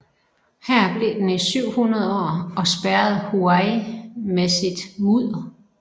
Her blev den i 700 år og spærrede Huai med sit mudder